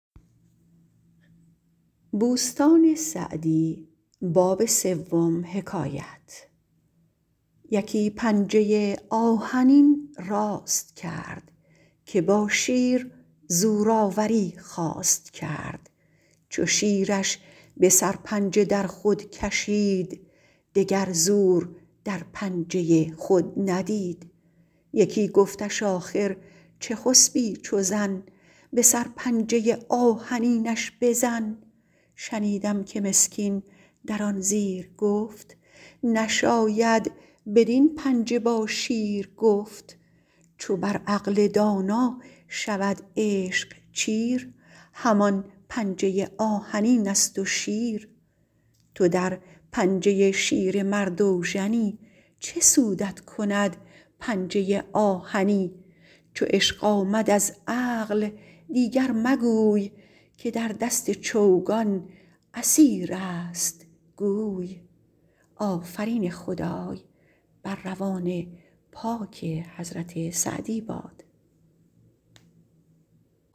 یکی پنجه آهنین راست کرد که با شیر زورآوری خواست کرد چو شیرش به سرپنجه در خود کشید دگر زور در پنجه خود ندید یکی گفتش آخر چه خسبی چو زن به سرپنجه آهنینش بزن شنیدم که مسکین در آن زیر گفت نشاید بدین پنجه با شیر گفت چو بر عقل دانا شود عشق چیر همان پنجه آهنین است و شیر تو در پنجه شیر مرد اوژنی چه سودت کند پنجه آهنی چو عشق آمد از عقل دیگر مگوی که در دست چوگان اسیر است گوی